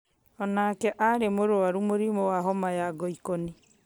onake arĩ mũrwaru mũrimũ wa homa ya ngoikoni